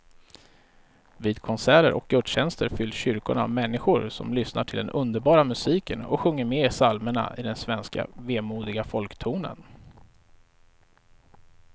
Vid konserter och gudstjänster fylls kyrkorna av människor som lyssnar till den underbara musiken och sjunger med i psalmerna i den svenska vemodiga folktonen.